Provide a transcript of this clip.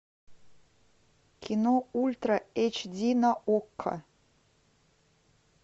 кино ультра эйч ди на окко